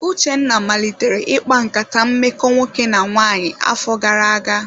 Uchenna malitere ịkpa nkata mmekọ nwoke na nwanyị afọ gara aga.